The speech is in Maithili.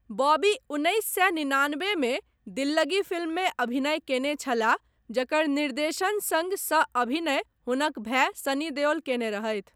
बॉबी उन्नैस सए निनानबेमे दिल्लगी फिल्ममे अभिनय कयने छलाह जकर निर्देशन सङ्ग सह अभिनय हुनक भाय सनी देओल कयने रहथि।